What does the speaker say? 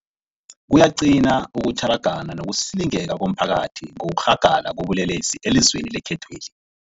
Kuyaqina ukutjhara, gana nokusilingeka komphakathi ngokurhagala kobulelesi elizweni lekhethweli.